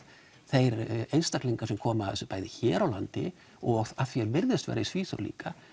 þeir einstaklingar sem komu að þessu bæði hér á landi og af því er virðist vera í Svíþjóð líka